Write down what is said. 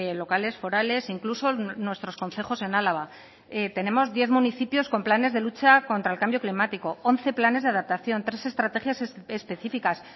locales forales incluso nuestros concejos en álava tenemos diez municipios con planes de lucha contra el cambio climático once planes de adaptación tres estrategias específicas